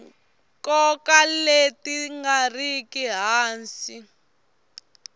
nkoka leti nga riki hansi